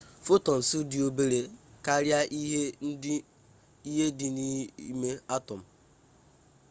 photons dị obere karịa ihe dị n'ime atom